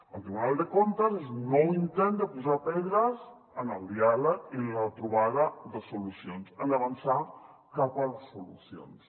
el tribunal de comptes és un nou intent de posar pedres en el diàleg i en la trobada de solucions en avançar cap a les solucions